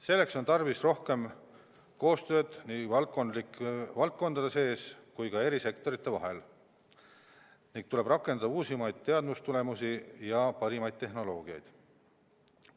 Selleks on tarvis rohkem koostööd nii valdkondade sees kui ka eri sektorite vahel ning tuleb rakendada uusimaid teadustulemusi ja parimaid tehnoloogiaid.